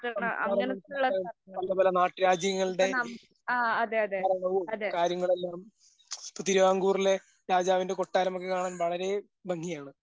സംസ്കാരങ്ങളും അത് പലപല നാട്ടു രാജ്യങ്ങളുടെ തരംഗവും കാര്യങ്ങളെല്ലാം പുതിയാങ്കൂറിലെ രാജാവിൻ്റെ കോട്ടാരമൊക്കെ കാണാൻ വളരേ ഭംഗിയാണ്.